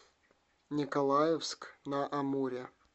николаевск на амуре